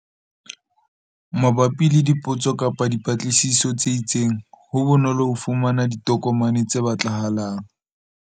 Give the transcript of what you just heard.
Mabapi le dipotso kapa dipatlisiso tse itseng, ho bonolo ho fumana ditokomane tse batlahalang.